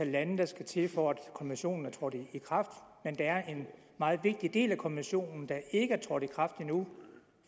lande der skulle til for at konventionen er trådt i kraft men der er en meget vigtig del af konventionen der ikke er trådt i kraft endnu